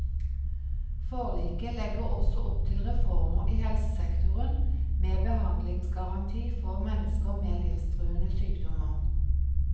Forliket legger også opp til reformer i helsesektoren, med behandlingsgaranti for mennesker med livstruende sykdommer.